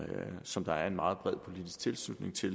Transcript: som der er meget bred politisk tilslutning til